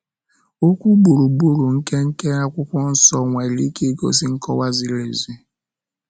Okwu gburugburu nke nke Akwụkwọ Nsọ nwere ike igosi nkọwa ziri ezi.